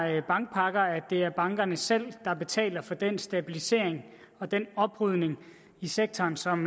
her bankpakker at det er bankerne selv der betaler for den stabilisering og den oprydning i sektoren som